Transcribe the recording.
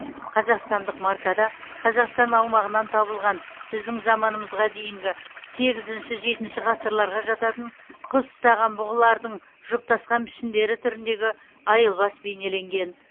қазақстандық маркада қазақстан аумағынан табылған біздің заманымызға дейінгі сегізінші жетінші ғасырларға жататын құс ұстаған бұғылардың жұптасқан пішіндері түріндегі айылбас бейнеленген